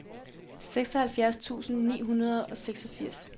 seksoghalvfjerds tusind ni hundrede og seksogfirs